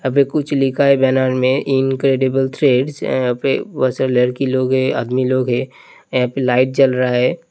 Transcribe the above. अभी कुछ लिखा है मे इंक्रेडिबले थ्रेडश यहाँ पे बहोत सारे लड़की लोग है। आदमी लोग है। यहा पे लाईट जल रहा है।